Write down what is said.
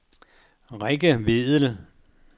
Rikke Vedel